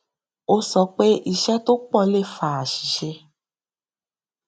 ó sọ pé iṣé tó pọ le fa aṣìṣe